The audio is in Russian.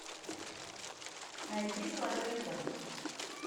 найди золотой ребенок